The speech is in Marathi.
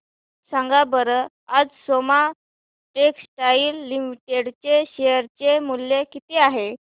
सांगा बरं आज सोमा टेक्सटाइल लिमिटेड चे शेअर चे मूल्य किती आहे